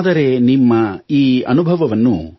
ಆದರೆ ನಿಮ್ಮ ಈ ಅನುಭವವನ್ನು